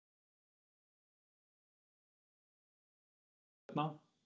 Björn Þorláksson: Þá innan barnaverndarnefnda?